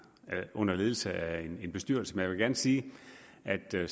under ledelse af en bestyrelse men jeg vil gerne sige at der